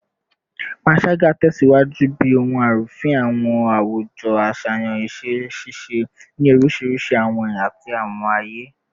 Panṣaga tẹsiwaju bi ohun arufin awujo aṣayan iṣẹ-ṣiṣe ni orisirisi awọn ẹya ti awọn aye